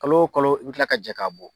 Kalo o kalo i bɛ kila ka jɛ ka bɔ.